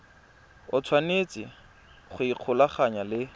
o tshwanetse go ikgolaganya le